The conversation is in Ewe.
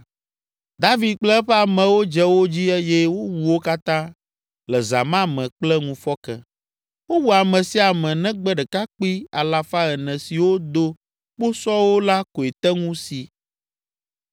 David kple eƒe amewo dze wo dzi eye wowu wo katã le zã ma me kple ŋufɔke. Wowu ame sia ame negbe ɖekakpui alafa ene siwo do kposɔwo la koe te ŋu si.